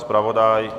Zpravodaj?